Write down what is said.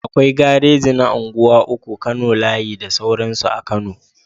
Akwai gareji na unguwa uku, kano layi da sauransu a kano